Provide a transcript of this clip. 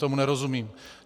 Tomu nerozumím.